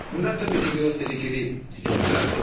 Bunlar təbii ki, biraz təhlükəli cümlələrdir.